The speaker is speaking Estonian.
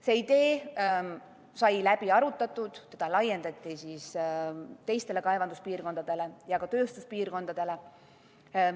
See idee sai läbi arutatud, seda laiendati teistele kaevanduspiirkondadele ja ka tööstuspiirkondadele.